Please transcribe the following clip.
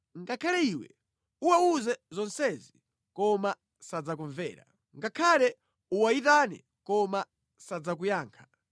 “Ngakhale iwe uwawuze zonsezi koma sadzakumvera. Ngakhale uwayitane koma sadzakuyankha.